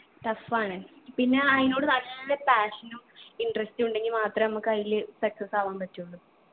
tough ആണ് പിന്നെ അയിനോട് നല്ല passion ഉം interest ഉണ്ടെങ്ങി മാത്രമേ നമ്മക്കയില് success ആവാൻ പറ്റുള്ളൂ